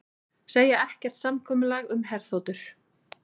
Segja ekkert samkomulag um herþotur